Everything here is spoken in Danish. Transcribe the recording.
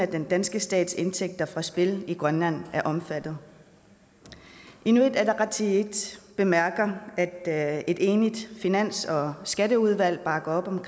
den danske stats indtægter fra spil i grønland er omfattet inuit ataqatigiit bemærker at et enigt finans og skatteudvalg bakker op om